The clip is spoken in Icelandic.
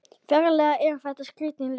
Ferlega er þetta skrítin lykt.